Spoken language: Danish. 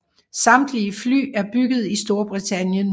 Samtlige fly er bygget i Storbritannien